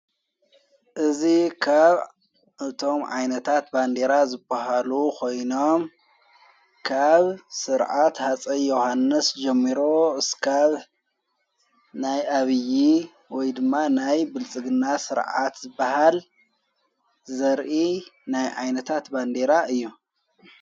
እዝ ኻብ እቶም ዓይነታት ባንዴራ ዘብሃሉ ኾይኖም ካብ ሥርዓት ሓፀይ ዮሓንስ ጀሚሮ ስካብ ናይ ኣብዪ ወይድማ ናይ ብልጽግና ሥርዓት ዝበሃል ዘርኢ ናይ ኣይነታት ባንዴራ እዮም::